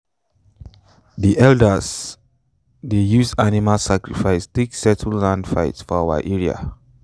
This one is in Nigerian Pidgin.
the elders dey use animal sacrifice take settle land fight for our area.